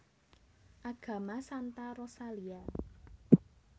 Agama Santa Rosalia